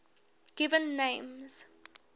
given names